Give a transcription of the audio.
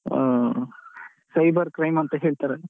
ಆಆ cyber crime ಅಂತ ಹೇಳ್ತಾರಲ್ಲ.